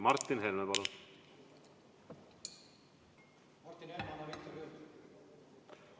Martin Helme, palun!